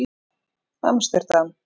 Amsterdam